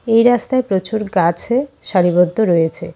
এই রাস্তায় প্রচুর গাছে সারিবদ্ধ রয়েছে।